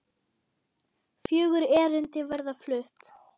Fjögur erindi verða flutt.